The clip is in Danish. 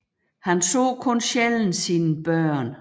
Han så kun sjældent sine børn